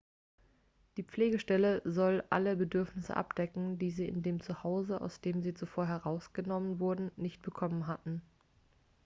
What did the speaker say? die pflegestelle soll alle bedürfnisse abdecken die sie in dem zu hause aus dem sie zuvor herausgenommen wurden nicht bekommen hatten